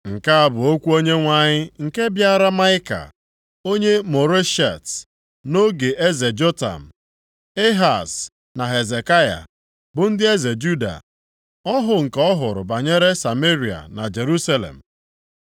Nke a bụ okwu Onyenwe anyị nke bịaara Maịka, onye Moreshet, nʼoge eze Jotam, Ehaz na Hezekaya, bụ ndị eze Juda. Ọhụ nke ọ hụrụ banyere Sameria na Jerusalem.